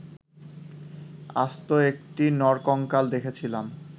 আস্ত একটি নরকঙ্কাল দেখেছিলাম